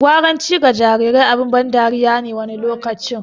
Gwaranci ga jarirai abin ban dariya ne wani lokaci.